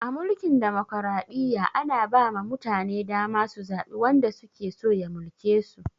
A mulkin dimokraɗiyya, ana ba ma mutane dama su zaɓi wanda suke so ya mulke su.